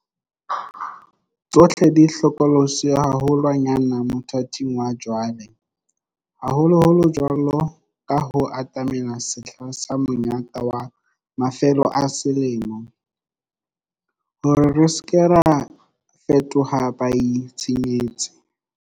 Tsohle di hlokolotsi haho lwanyane mothating wa jwale, haholoholo jwaloka ha ho atamela sehla sa monyaka wa mafelo a selemo, hore re se ke ra fetoha baitshenyetsi.